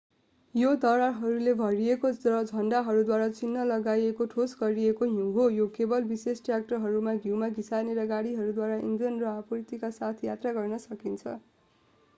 यो दरारहरूले भरिएको र झण्डाद्वारा चिह्न लगाइएको ठोस गरिएको हिउँ हो यो केवल विशेष ट्रयाक्टरहरू हिउँमा घिसार्ने गाडीहरूद्वारा इन्धन र आपूर्तिका साथ यात्रा गर्न सकिन्छ